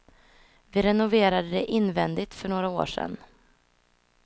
Vi renoverade det invändigt för några år sedan.